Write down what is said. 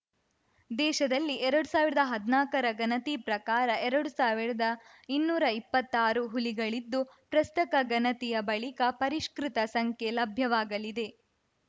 ದೇಶದಲ್ಲಿ ಎರಡ್ ಸಾವಿರ್ದಾ ಹದ್ನಾಕರ ಗಣತಿ ಪ್ರಕಾರ ಎರಡ್ ಸಾವಿರ್ದಾ ಇನ್ನೂರಾ ಇಪ್ಪತ್ತಾರು ಹುಲಿಗಳಿದ್ದು ಪ್ರಸಕ್ತ ಗಣತಿಯ ಬಳಿಕ ಪರಿಷ್ಕೃತ ಸಂಖ್ಯೆ ಲಭ್ಯವಾಗಲಿದೆ